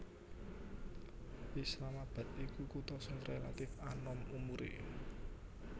Islamabad iku kutha sing rélatif anom umuré